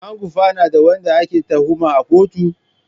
An gurfanar da wanda ake tuhuma a kotu?